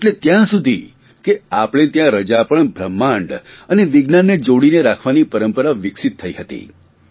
એટલે ત્યાં સુધી કે આપણે ત્યાં રજા પણ બ્રહ્માંડ અને વિજ્ઞાનને જોડીને રાખવાની પરંપરા વિકસિત થઇ હતી